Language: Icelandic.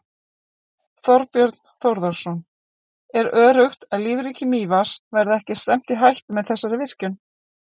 Þorbjörn Þórðarson: Er öruggt að lífríki Mývatns verði ekki stefnt í hættu með þessari virkjun?